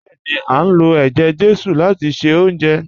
Bẹ́ẹ̀ni, a ń lo ẹjẹ-jesu láti ṣe oúnjẹ